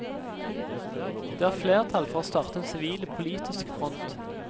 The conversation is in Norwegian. Det er flertall for å starte en sivil, politisk front.